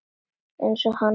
Eins og hann hafði verið.